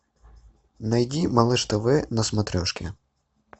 найди малыш тв на смотрешке